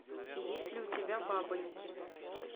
есть ли у тебя бабоньки